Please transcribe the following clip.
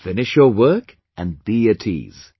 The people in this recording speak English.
Finish your work and be at ease